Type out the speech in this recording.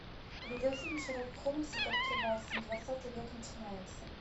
видеофильм шерлок холмс и доктор ватсон двадцатый век начинается